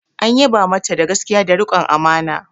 An yaba mata da gaskiya da rikon amana.